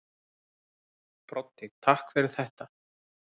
Broddi: Takk fyrir þetta.